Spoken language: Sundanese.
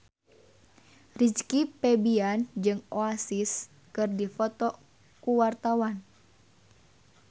Rizky Febian jeung Oasis keur dipoto ku wartawan